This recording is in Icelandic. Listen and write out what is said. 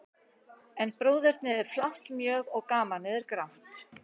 En bróðernið er flátt mjög, og gamanið er grátt.